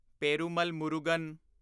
Perumal Murugan